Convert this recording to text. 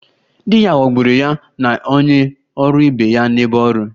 Di ya ghọgburu ya na onye ọrụ ibe ya n'ebe ọrụ